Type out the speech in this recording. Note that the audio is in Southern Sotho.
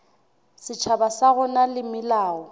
setjhaba sa rona le melao